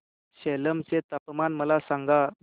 सेलम चे तापमान मला सांगा